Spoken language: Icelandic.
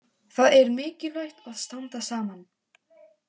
Það er mikilvægt að standa saman.